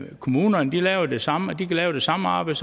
kommunerne laver det samme og kan lave det samme arbejde